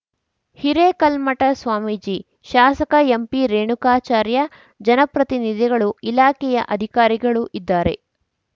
ಹಿರೇಕಲ್ಮಠ ಸ್ವಾಮೀಜಿ ಶಾಸಕ ಎಂಪಿರೇಣುಕಾಚಾರ್ಯ ಜನಪ್ರತಿನಿಧಿಗಳು ಇಲಾಖೆಯ ಅಧಿಕಾರಿಗಳು ಇದ್ದಾರೆ